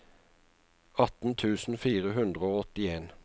atten tusen fire hundre og åttien